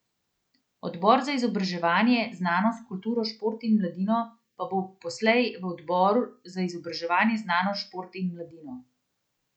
Odbor za izobraževanje, znanost, kulturo, šport in mladino pa bo poslej v odbor za izobraževanje, znanost, šport in mladino.